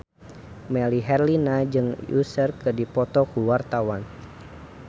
Melly Herlina jeung Usher keur dipoto ku wartawan